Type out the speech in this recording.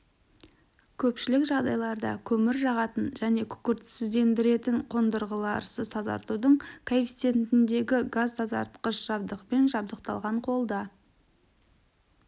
көпшілік жағдайларда көмір жағатын және күкіртсіздендіретін қондырғыларсыз тазартудың коэффициентіндегі газтазартқыш жабдықпен жабдықталған қолда